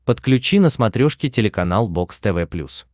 подключи на смотрешке телеканал бокс тв плюс